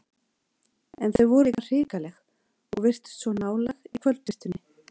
En þau voru líka hrikaleg og virtust svo nálæg í kvöldbirtunni.